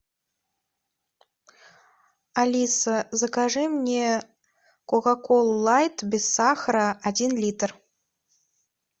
алиса закажи мне кока колу лайт без сахара один литр